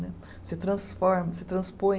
Você transforma, você transpõe.